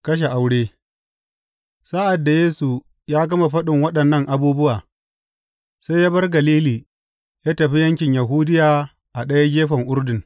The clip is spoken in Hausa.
Kashen aure Sa’ad da Yesu ya gama faɗin waɗannan abubuwa, sai ya bar Galili, ya tafi yankin Yahudiya a ɗaya gefen Urdun.